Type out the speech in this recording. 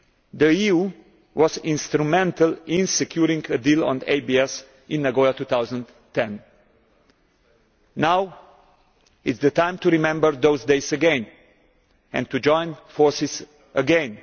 The EU was instrumental in securing a deal on ABS in Nagoya in 2010. Now is the time to remember those days again and to join forces again.